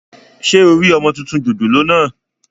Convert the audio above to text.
Ṣé o rí ọmọ tuntun jòjòló náà?